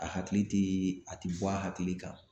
A hakili tɛ a tɛ bɔ a hakili kan